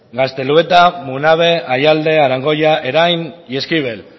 gaztelueta munabe ayalde arangoya erain y eskibel